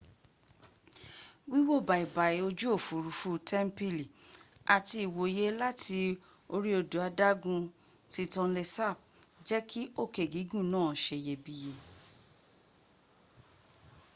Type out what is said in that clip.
wíwò bàìbàì ojú òfúrufú tẹ́m̀pìlì àti ìwòye láti orí odò adágún ti tonle sap jẹ́ kí òkè gígùn náà seyebíye